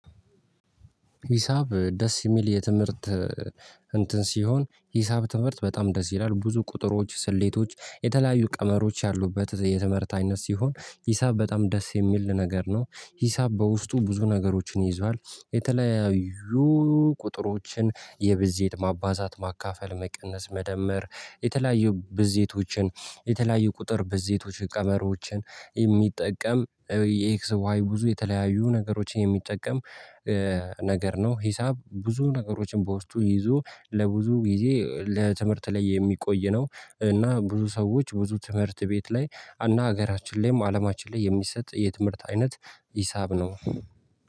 ሂሳብ ደስ የሚል የትምህርት እንትን ሲሆን ሂሳብ ትምህርት በጣም ደስ ይላል ብዙ ቁጥሮች ስሌቶች የተለያዩ ቀመሮች ያሉበት የትምህርት አይነት ሲሆን ሂሳብ በጣም ደስ የሚል ነገር ነው። ሂሳብ በውስጡ ብዙ ነገሮችን ይዟል። የተለያዩ ቁጥሮችን የብዜት ማባዛት ማካፈል መቀነስ መደመር የተለያዩ ብዜቶችን የተለያዩ ቁጥር ብዜቶች ቀመሮችን የሚጠቀም የኤክስ ዋይ ብዙ የተለያዩ ነገሮችን የሚጠቀም ነገር ነው። ሂሳብ ብዙ ነገሮችን በውስጡ ይዞ ለብዙ ጊዜ ትምህርት ላይ የሚቆይ ነው። እና ብዙ ሰዎች ብዙ ትምህርት ቤት ላይ እና ሀገራችን ላይም አለማችን ላይ የሚሰጥ የትምህርት አይነት ሂሳብ ነው።